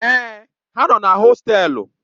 Èè, ha nọ na hostelu.